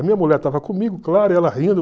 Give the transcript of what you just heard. A minha mulher estava comigo, claro, e ela rindo.